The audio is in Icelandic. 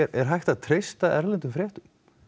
er hægt að treysta erlendum fréttum